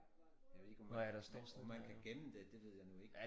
Jeg ved ikke om man om man kan gemme det det ved jeg nu ikke